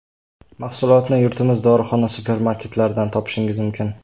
Mahsulotni yurtimiz dorixona, supermarketlaridan topishingiz mumkin.